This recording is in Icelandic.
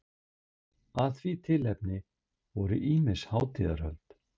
Af því tilefni voru ýmis hátíðahöld.